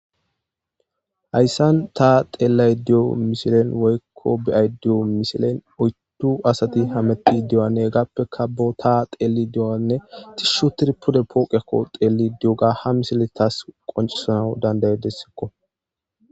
Hayssan tha xeellaydda diyo misile woykko be7aydda diyo misilee oyddu asathi hameththiiddi diyonne hegaappekka boothaa xeellidi diyoogaanne shuthidi pude pooqiyaakko xeelliddi diyoogaa.